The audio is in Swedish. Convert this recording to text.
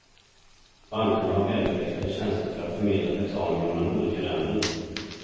Bankerna har välutvecklade tjänster för att förmedla betalningar mellan olika länder.